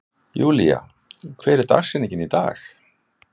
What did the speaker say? Julia, hver er dagsetningin í dag?